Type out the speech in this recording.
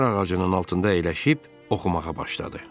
Çinar ağacının altında əyləşib oxumağa başladı.